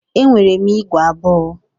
Enwere m ígwè abụọ.